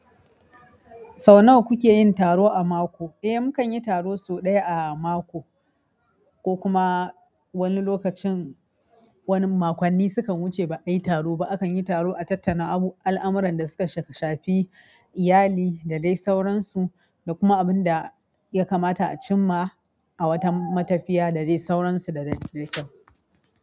Sau nawa kuke yin taro a mako? Eh, mu kan yi taro sau ɗaya a mako, ko kuma wani lokacin wani makonni sukan wuce ba ayi taro ba. Akan yi taro a tattana abu al'amuran da suka shafi iyali da dai sauransu, da kuma abin da ya kamata a cimma a wata matafiya da dai sauransu da dai dai kyau.